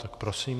Tak prosím.